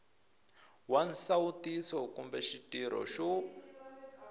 wa nsawutiso kumbe xitirho xo